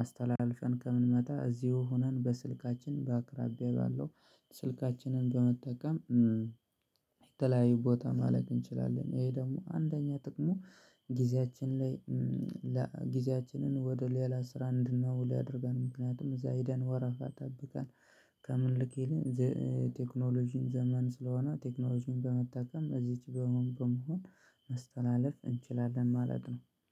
አስተላልፈን ከምንመጣ እዚሁ ሆነን በስልካችን በአቅራቢያ ባለው ስልካችንን በመጠቀም የተለያዩ ቦታ ማለት እንችላለን። ይሄ ደግሞ አንደኛ ጥቅሙ ጊዜያችን ላይ ጊዜያችንን ወደ ሌላ ስራ አንድናውል ያደርገል ምክንያቱም እዛሂደን ወረፋ ጠብቀን ከምን ልክ የለም። ቴክኖሎጂን ዘመን ስለሆነ ቴክኖሎጂን በመጠቀም እዚች በመሆን ማስተላለፍ እንችላለን ማለት ነው